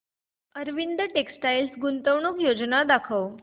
Arvind textile गुंतवणूक योजना दाखव